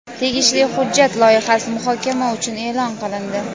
Tegishli hujjat loyihasi muhokama uchun e’lon qilindi.